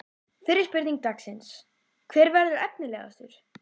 Fyrri spurning dagsins: Hver verður efnilegastur?